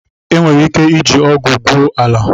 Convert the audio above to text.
Enwere ike iji ọgụ gwue ala.